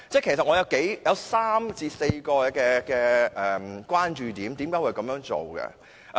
其實，我有3至4個關注點。